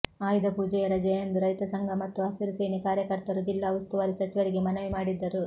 ಆಯುಧಪೂಜೆಯ ರಜೆಯಂದು ರೈತ ಸಂಘ ಮತ್ತು ಹಸಿರು ಸೇನೆ ಕಾರ್ಯಕರ್ತರು ಜಿಲ್ಲಾ ಉಸ್ತುವಾರಿ ಸಚಿವರಿಗೆ ಮನವಿ ಮಾಡಿದ್ದರು